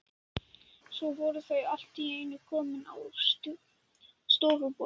Svo voru þau allt í einu komin á stofuborðið.